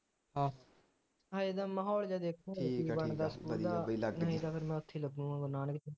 ਅਜੇ ਤਾਂ ਮਾਹੌਲ ਜਾ ਦੇਖੁ ਨਹੀ ਤਾਂ ਫਿਰ ਮੈਂ ਉਥੇ ਹੀ ਲੱਗੂਗਾ ਗੁਰੂ ਨਾਨਕ ਤੇ